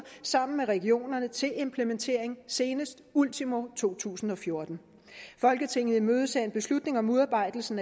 sammen med regionerne til implementering senest ultimo to tusind og fjorten folketinget imødeser beslutning om udarbejdelsen